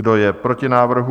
Kdo je proti návrhu?